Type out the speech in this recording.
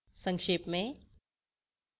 संक्षेप में